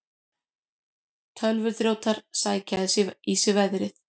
Tölvuþrjótar sækja í sig veðrið